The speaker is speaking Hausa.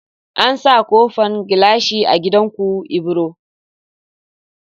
An sa kofan gilashi a gidan ku ibro